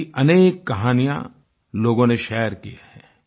ऐसी अनेक कहानियाँ लोगों ने शेयर की हैं